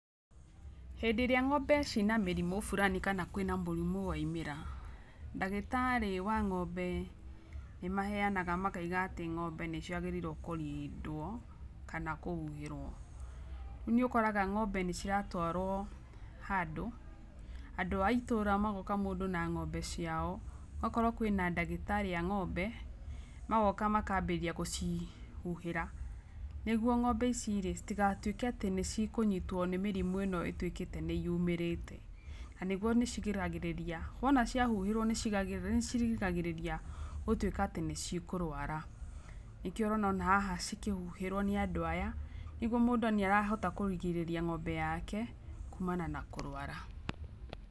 Hĩndĩ ĩrĩa ng'ombe ciĩ na mĩrimũ burani kana kũrĩ na mũrimũ waimĩra, ndagĩtarĩ wa ng'ombe nĩ maheyana makaiga atĩ ng'ombe nĩ ciagĩrĩirwo kũrindwo, kana kũhuhĩrwo. Rĩu nĩ ũkoraga ng'ombe nĩ nĩ ciratwarwo handũ, andũ a itũra magoka mũndũ na ng'ombe ciao, akorwo kwĩna ndagĩtarĩ a ng'ombe magoka makambĩrĩria gũcihuhĩra, nĩguo ng'ombe ici rĩ citigatuĩke nĩ cikũnyitwo nĩ mĩrimũ ĩno ĩtuĩkĩte nĩ yumĩrĩte. Nĩguo nĩ cirigagĩrĩria, wona ciahuhĩrwo nĩ ciĩrigagĩrĩria gũtuĩka nĩ cikũrwara nĩkĩo ũrona haha cikĩhuhĩrwo nĩ andũ aya nĩguo mũndũ nĩ arahota kũgirĩrĩria ng'ombe yake kumana na kũrwara.